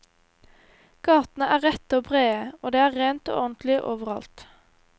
Gatene er rette og brede, og det er rent og ordentlig overalt.